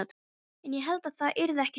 En ég hélt að það yrði ekki svona.